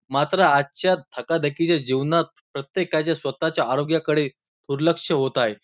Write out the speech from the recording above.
मात्र आजच्या धकाधकीच्या जीवनात प्रत्येकाच्या स्वतःच्या आरोग्याकडे दुर्लक्ष होत आहे.